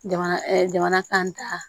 Jamana jamana kan ta